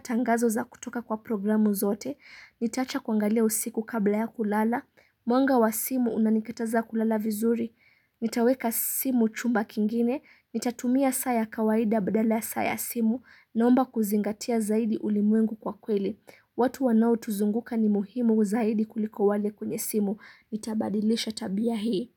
tangazo za kutoka kwa programu zote. Nitaacha kuangalia usiku kabla ya kulala. Mwanga wa simu unanikitaza kulala vizuri. Nitaweka simu chumba kingine, nitatumia saa ya kawaida badala ya saa ya simu, naomba kuzingatia zaidi ulimwengu kwa kweli. Watu wanao tuzunguka ni muhimu zaidi kuliko wale kwenye simu. Nitabadilisha tabia hii.